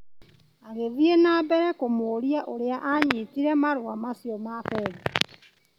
Agĩthiĩ na mbere kũmũria ũria anyitire marũa macio ma bengi .